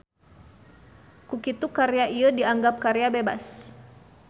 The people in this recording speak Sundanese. Kukitu karya ieu dianggap karya bebas